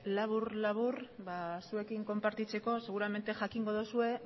labur labur zuekin konpartitzeko seguramente jakingo duzue